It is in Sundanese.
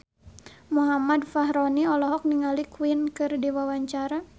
Muhammad Fachroni olohok ningali Queen keur diwawancara